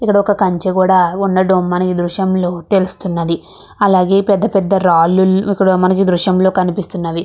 ఇక్కడ ఒక కంచ కూడా ఉన్నట్లు మనకి దృశ్యంలో తెలుస్తున్నది అలాగే పెద్ద పెద్ద రాళ్లు మనకి దృశ్యంలో కనిపిస్తున్నవి.